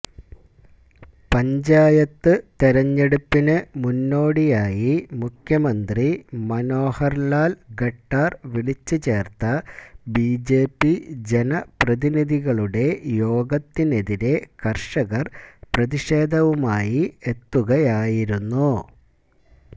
പഞ്ചായത്ത് തെരഞ്ഞെടുപ്പിന് മുന്നോടിയായി മുഖ്യമന്ത്രി മനോഹർ ലാൽ ഖട്ടാർ വിളിച്ചു ചേർത്ത ബിജെപി ജനപ്രതിനിധികളുടെ യോഗത്തിനെതിരെ കർഷകർ പ്രതിഷേവുമായി എത്തുകയായിരുന്നു